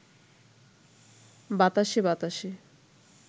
বাতাসে বাতাসে